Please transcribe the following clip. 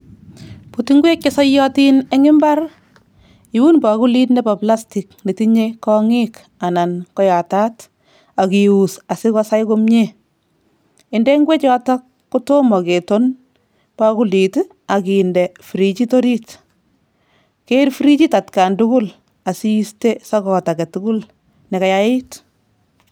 Buut ingwek che soiyotin eng imbar, iun bakulit nebo plastic netinye kong'iik anan koyataat ak ius asikosai komie, inde ngwechotok kotomo keton bakulit ak inde frijit orit, keer frijit atkan tugul asiiste sokot age tugul ne kayait.